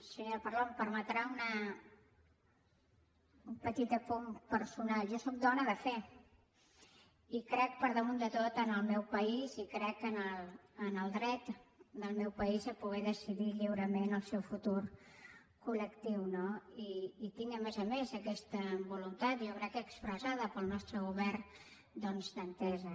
senyora parlon em permetrà un petit apunt personal jo sóc dona de fe i crec per damunt de tot en el meu país i crec que en el dret del meu país a poder decidir lliurement el seu futur col·lectiu no i tinc a més a més aquesta voluntat jo crec que expressada pel nostre govern doncs d’entesa